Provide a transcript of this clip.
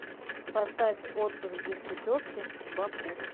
поставь отпуск без путевки баку